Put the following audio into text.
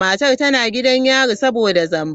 Matar tana gidan yari saboda zamba.